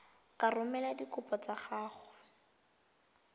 ka romela dikopo tsa gago